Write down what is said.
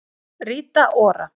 Rita Ora